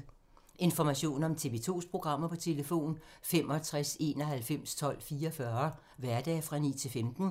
Information om TV 2's programmer: 65 91 12 44, hverdage 9-15.